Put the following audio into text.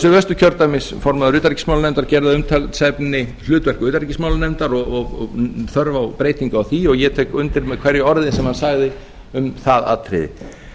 suðvesturkjördæmis formaður utanríkismálanefndar gerði að umtalsefni hlutverk utanríkismálanefndar og þörf á breytingu á því og ég tek undir með hverju orði sem hann sagði um það atriði